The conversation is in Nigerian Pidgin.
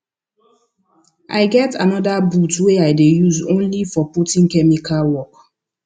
i get anther boot wey i dey use only for putting chemical work